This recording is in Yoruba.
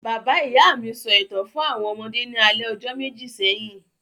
Bàbá-ìyá mi sọ ìtàn fún àwọn ọmọdé ní alẹ́ ọjọ́ méjì sẹ́yìn.